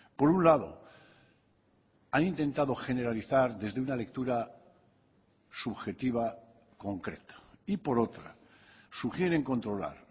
por un lado han intentado generalizar desde una lectura subjetiva concreta y por otra sugieren controlar